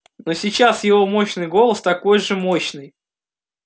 но сейчас его мощный голос такой же мощный